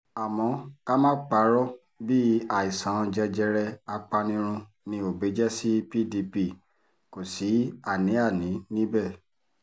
àmọ́ ká má parọ́ bíi àìsàn jẹjẹrẹ apanirun ni òbí jẹ́ sí pdp kò sí àní-àní níbẹ̀